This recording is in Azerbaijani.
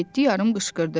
Yeddi yarım qışqırdı.